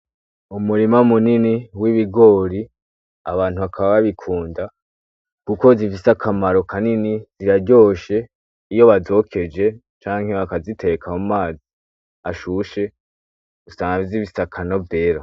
Umurima munini w'ibigori, Abantu bakaba babikunda kuko zifise akamaro kanini, ziraryoshe iyo bazokeje canke bakaziteka mumazi ashushe usanga zifise akanovera.